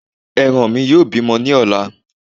Ẹran mí yóò bímọ ní ọ̀la